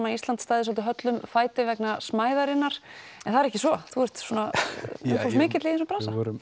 að Íslandi stæði höllum fæti vegna smæðarinnar en það er ekki svo þú ert mikill í þessum bransa við vorum